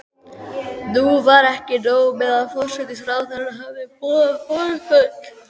Nú var ekki nóg með að forsætisráðherra hafði boðað forföll.